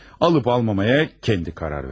Alıb-almamağa özü qərar versin.